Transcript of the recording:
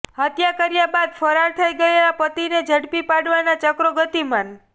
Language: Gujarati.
હત્યા કર્યા બાદ ફરાર થઇ ગયેલા પતિને ઝડપી પાડવાના ચક્રોગતિમાન